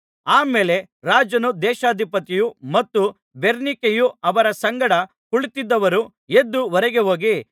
ಆ ಮೇಲೆ ರಾಜನೂ ದೇಶಾಧಿಪತಿಯೂ ಮತ್ತು ಬೆರ್ನಿಕೆಯೂ ಅವರ ಸಂಗಡ ಕುಳಿತಿದ್ದವರೂ ಎದ್ದು ಹೊರಗೆ ಹೋಗಿ